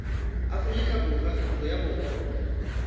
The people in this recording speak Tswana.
aforika borwa ntlo ya borongwa